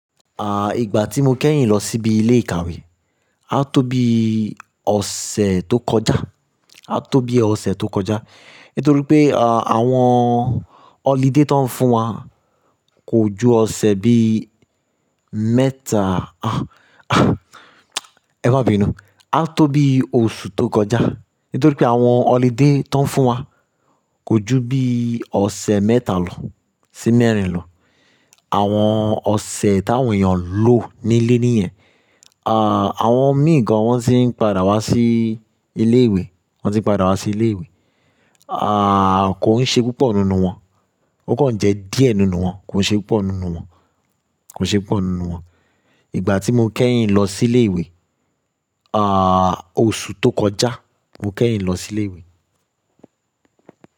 Ìgbà tí mo kẹ́yìn lọ síbi ilé ìkàwé, á tó bí ọ̀sẹ̀ tó kọjá. Nítorí pé, àwọn holiday ti won fún wa, kò ju ọ̀sẹ̀ bí mẹ́ta, ẹ ma bi nu. Á tó bí oṣù tó kọjá. Nítorí pé àwọn holiday tó ń fún wa kò ju bí ọ̀sẹ̀ mẹ́ta lọ, sì mẹ́rin lọ. Àwọn ọ̀sẹ̀ táwọn èèyàn ń lọ nílé níyẹn, àwọn mì gan wọn ti ń padà wá sí ilé ìwé, kò ń ṣe púpọ̀ nínú wọn. Ó kàn jẹ́ díẹ̀ nínú wọn, kò ń ṣe púpọ̀ nínú wọn, Ìgbà tí mo kẹ́yìn lọ sí ilé ìwé, oṣù tó kọjá mo kẹ́yìn lọ sí ilé ìwé.